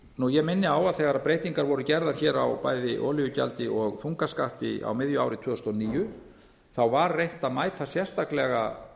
ég minni á að þegar breytingar voru gerðar hér á bæði olíugjaldi og þungaskatti á miðju ári tvö þúsund og níu var reynt að mæta sérstaklega